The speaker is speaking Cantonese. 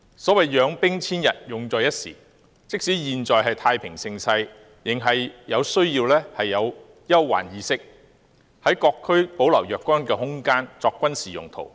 所謂養兵千日，用在一時，即使現在是太平盛世，也需要具備憂患意識，在各區保留若干空間作軍事用途。